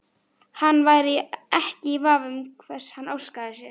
Hann væri ekki í vafa um hvers hann óskaði sér.